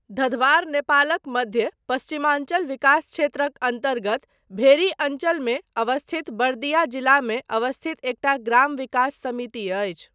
धधबार नेपालक मध्य पश्चिमाञ्चल विकास क्षेत्रक अन्तर्गत भेरी अञ्चलम अवस्थित बर्दिया जिलामे अवस्थित एकटा ग्राम विकास समिति अछि।